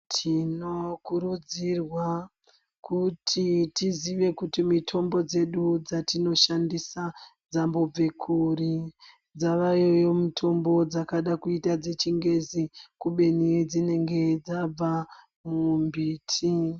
Tinokurudzirwa kuti tizive kuti mitombo dzedu dzatinoshandisa dzambobve kuri , dzavayoyo mitombo dzakadakuita dzechingezi ibeni dzinenge dzabva mumbiti .